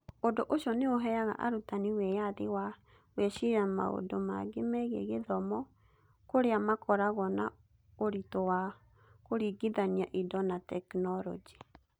Ũndũ ũcio nĩ ũheaga arutani wĩyathi wa gwĩciria maũndũ mangĩ megiĩ gĩthomo, kũrĩa makoragwo na ũritũ wa kũringithania indo na tekinoronjĩ.